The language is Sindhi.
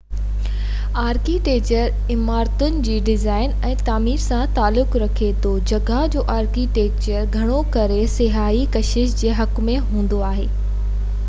آرڪيٽيڪچر عمارتن جي ڊزائن ۽ تعمير سان تعلق رکي ٿو جڳهه جو آرڪيٽيڪچر گهڻو ڪري سياحتي ڪشش جي حق ۾ هوندي آهي